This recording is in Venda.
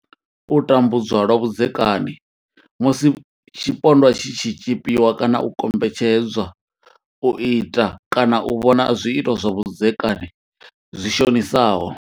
U tambudzwa lwa vhudzekani musi tshipondwa tshi tshi tshipiwa kana u kombetshedzwa u ita kana u vhona zwiito zwa vhudzekani zwi shonisaho.